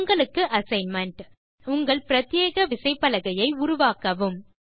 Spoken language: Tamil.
உங்களுக்கு அசைன்மென்ட் உங்கள் பிரத்யேக விசைப்பலகையை உருவாக்கவும்